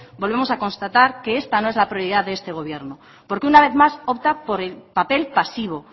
volvemos a constatar que esta no es la prioridad de este gobierno porque una vez más opta por el papel pasivo